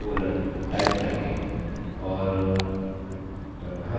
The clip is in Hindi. और हम जानते हैं कि क्या करना है नहीं जानते हैं